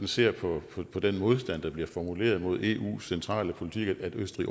ser på den modstand der bliver formuleret mod eus centrale politik at østrig